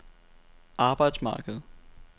arbejdsmarkedet